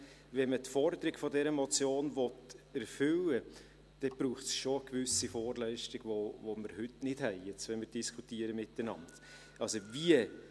Wenn man die Forderung dieser Motion erfüllen will, dann braucht es schon eine gewisse Vorleistung, die wir heute nicht haben, während wir jetzt miteinander diskutieren.